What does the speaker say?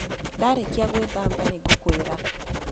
Ndarĩkia gwithamba nĩ ngũkwĩra.